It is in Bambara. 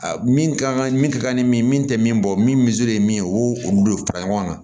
A min ka kan ka min ka ni min tɛ min bɔ min ye min ye o y'o olu de fara ɲɔgɔn kan